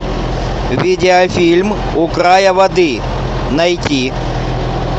видеофильм у края воды найти